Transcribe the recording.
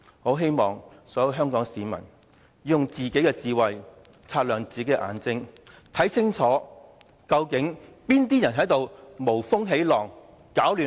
我希望所有香港市民要以自己的智慧擦亮自己的眼睛，看清楚究竟是哪些人在無風起浪，攪亂香港，踐踏人權！